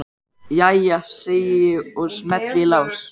Jæja, segi ég og smelli í lás.